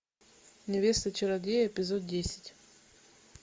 невеста чародея эпизод десять